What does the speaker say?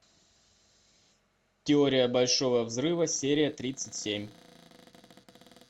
теория большого взрыва серия тридцать семь